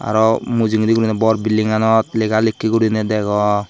aro mujungendi gurine bor buildinganot lega likke gurine dego.